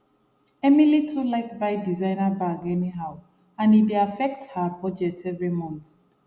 emily too like buy designer bag anyhow and e dey affect her budget every month